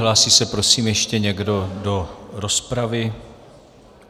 Hlásí se prosím ještě někdo do rozpravy?